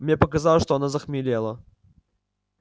мне показалось что она захмелела